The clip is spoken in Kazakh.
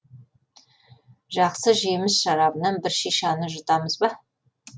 жақсы жеміс шарабынан бір шишаны жұтамыз ба